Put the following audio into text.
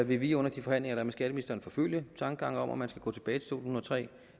vil vi jo under de forhandlinger med skatteministeren forfølge tankegangen om at man skal gå tilbage tusind og tre